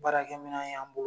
Baarakɛ minna y'an bolo